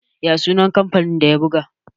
ya sunan kamfanin da ya buga?